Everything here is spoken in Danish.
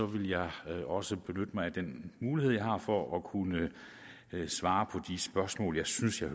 vil jeg også benytte mig af den mulighed jeg har for at kunne svare på de spørgsmål jeg synes at